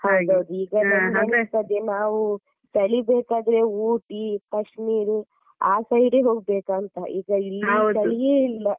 ಹೌದೌದು ಈಗ ನಮ್ಗೆ ಎಣಿಸ್ತದೆ ನಾವು ಚಳಿ ಬೇಕಾದ್ರೆ Ooty, Kashmir ಆ side ಹೋಗ್ಬೇಕಾಂತ ಈಗ ಇಲ್ಲಿ ಚಳಿಯೇ ಇಲ್ಲ.